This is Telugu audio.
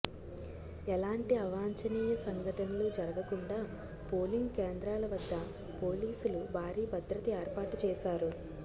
ఎలాంటి అవాంఛనీయ సంఘటనలు జరగకుండా పోలింగ్ కేంద్రాల వద్ద పోలీసులు భారీ భద్రత ఏర్పాటుచేశారు